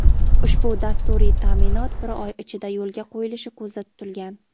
ushbu dasturiy ta’minot bir oy ichida yo‘lga qo‘yilishi ko‘zda tutilgan.